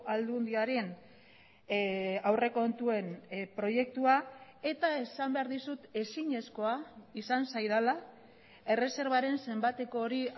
aldundiaren aurrekontuen proiektua eta esan behar dizut ezinezkoa izan zaidala erreserbaren zenbateko hori